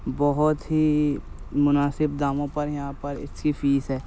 बोहोत ही मुनासिफ़ दामों पर यहाँ पर इसकी फीस है।